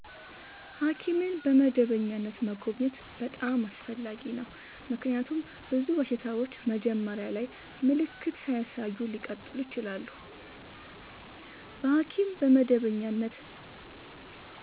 ሐኪምን በመደበኛነት መጎብኘት በጣም አስፈላጊ ነው፤ ምክንያቱም ብዙ በሽታዎች መጀመሪያ ላይ ምልክት ሳያሳዩ ሊቀጥሉ ይችላሉ። በሐኪም በመደበኛነት